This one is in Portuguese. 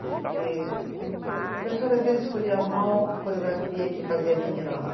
Porque a professora às vezes escolhia mal a coreografia que fazia a menina lá.